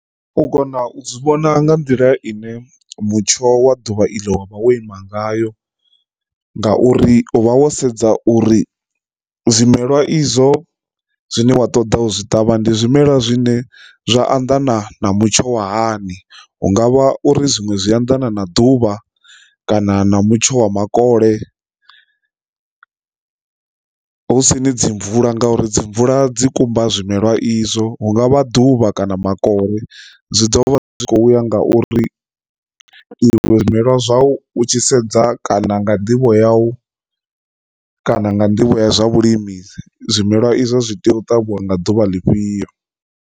U kona u zwi vhona nga nḓila ine mutsho wa ḓuvha iḽo wa vha wo ima ngayo ngauri u vha wo sedza uri zwimelwa izwo zwine wa ṱoḓa u zwi ṱavha ndi zwimela zwine zwa anḓana na mutsho wa hani, hungavha uri zwiṅwe zwi anḓana na ḓuvha kana na mutsho wa makole. Hu si ni dzi mvula nga uri dzi mvula dzi kumba zwimela izwo hungavha ḓuvha kana makole zwi ḓo vha zwi kho uya ngauri izwo zwimelwa zwau tshi sedza kana nga nḓivho yau kana nga nḓivho ya zwa vhulimi zwimelwa izwo zwi tea u ṱavhiwa nga ḓuvha ḽifhio.